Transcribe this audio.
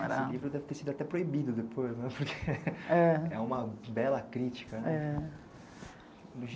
Esse livro deve ter sido até proibido depois, porque é uma bela crítica.